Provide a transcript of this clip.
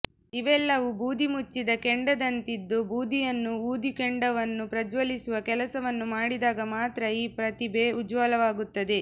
ಇವೆಲ್ಲವೂ ಬೂದಿ ಮುಚ್ಚಿದ ಕೆಂಡದಂತಿದ್ದು ಬೂದಿಯನ್ನು ಊದಿ ಕೆಂಡವನ್ನು ಪ್ರಜ್ವಲಿಸುವ ಕೆಲಸವನ್ನು ಮಾಡಿದಾಗ ಮಾತ್ರ ಈ ಪ್ರತಿಭೆ ಉಜ್ವಲವಾಗುತ್ತದೆ